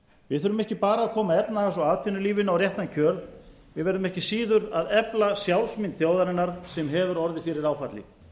við þurfum ekki bara að koma efnahags og atvinnulífinu á réttan kjöl við verðum ekki síður að efla sjálfsmynd þjóðarinnar sem hefur orðið fyrir áfalli